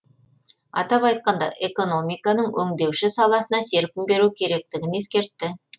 атап айтқанда экономиканың өңдеуші саласына серпін беру керектігін ескертті